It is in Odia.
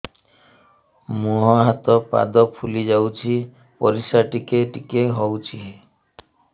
ମୁହଁ ହାତ ପାଦ ଫୁଲି ଯାଉଛି ପରିସ୍ରା ଟିକେ ଟିକେ ହଉଛି